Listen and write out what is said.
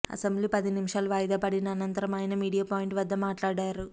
assembly పది నిమిషాలు వాయిదా పడిన అనంతరం ఆయన మీడియా పాయింట్ వద్ద మాట్లాడారు